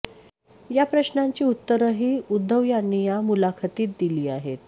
या प्रश्नांची उत्तरंही उद्धव यांनी या मुलाखतीतून दिली आहेत